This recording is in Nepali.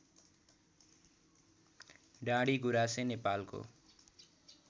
डाँडिगुराँसे नेपालको